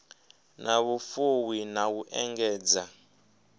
na vhufuwi na u engedza